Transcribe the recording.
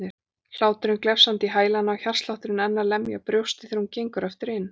Hláturinn glefsandi í hælana og hjartslátturinn enn að lemja brjóstið þegar hún gengur aftur inn.